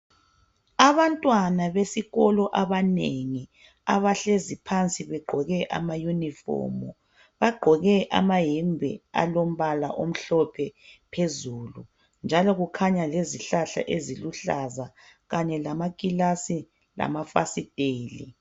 Abantwana besikolo abanengi abahlezi phansi begqoke amauniform bagqoke amayembe alombala omhlophe phezulu njalo kukhanya izihlahla ezilombala okuhlaza njalo kukhanya amaclass lamafastela